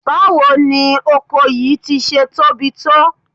Báwo ni oko yìí ti ṣe tóbi tó?